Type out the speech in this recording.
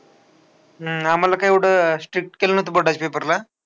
हम्म आम्हाला काय एवढं strict केलं न्हवतं board चा paper ला.